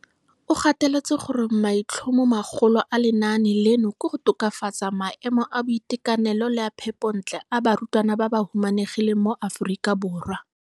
O gateletse gore maitlhomomagolo a lenaane leno ke go tokafatsa maemo a boitekanelo le a phepontle a barutwana ba ba humanegileng mo Aforika Borwa.